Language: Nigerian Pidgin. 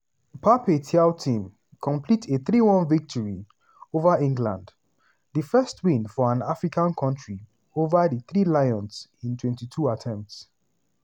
pape thiaw team complete a 3-1 victory ova england - di first win for an african kontri ova dithree lions in 22 attempts.